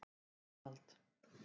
Arnald